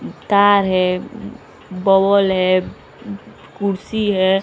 तार है बॉल है कुर्सी है।